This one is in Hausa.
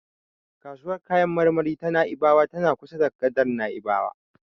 Kasuwar kayan marmari ta Na'ibawa tana kusa da gadar Na'ibawa.